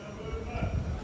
Horuy.